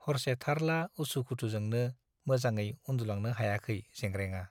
हरसे थारला उसु खुथुजोंनो मोजाङै उन्दुलांनो हायाखै जेंग्रेंआ।